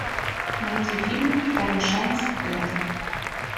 найди фильм второй шанс кэрол